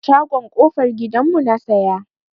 A shagon kofar gidan mu na siya.